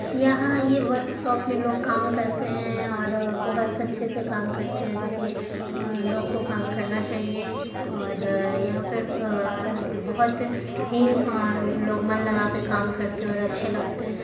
यहाँ ये workshop में लोग काम करते हैं और अअ बहुत अच्छे से काम करते हैं जो की इन लोग को काम करना चाहिए और यहाँ पर अ-अ-अ लोग बहुत ही अअ लोग मन लगा कर काम करते हैं।